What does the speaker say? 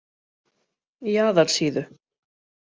Jaðarsíðu